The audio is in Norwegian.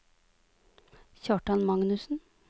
Kjartan Magnussen